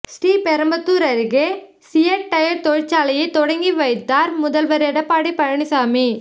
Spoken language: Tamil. ஸ்ரீபெரும்புதூர் அருகே சியட் டயர் தொழிற்சாலையை தொடக்கி வைத்தார் முதல்வர் எடப்பாடி பழனிசாமி